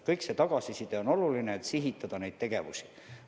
Kogu tagasiside on seejuures oluline, et neid tegevusi sihitada.